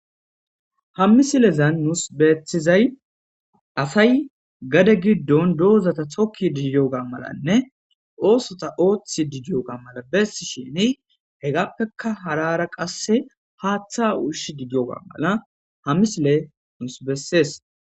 ha misilezan nuus beethizay asay gade giddon doozata tokki didiyoga malanne oosota ooththi didiyoga mala bessisheni hegappeka harara qasse haaththa ushi didiyoga mala ha misile nuusi bessees